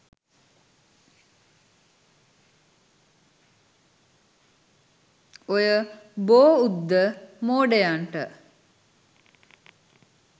ඔය බෝඋද්ද මෝඩයන්ට